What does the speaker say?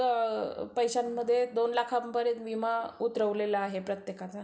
पैश्यांमध्ये दोन लाखापर्यंत विमा उतरावलेला आहे प्रत्येकाचा